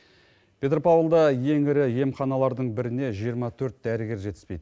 петропавлда ең ірі емханалардың біріне жиырма төрт дәрігер жетіспейді